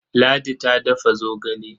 Ladi ta dafa zogale.